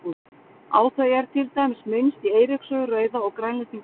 Á þau er til dæmis minnst í Eiríks sögu rauða og Grænlendinga sögu.